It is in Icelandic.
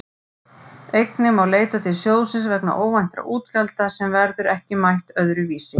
Einnig má leita til sjóðsins vegna óvæntra útgjalda sem verður ekki mætt öðru vísi.